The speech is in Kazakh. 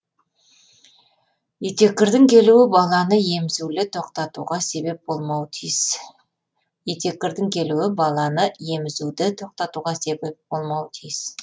етеккірдің келуі баланы емізулі тоқтатуға себеп болмауы тиіс етеккірдің келуі баланы емізулі тоқтатуға себеп болмауы тиіс